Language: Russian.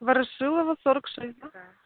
ворошилова сорок шесть да да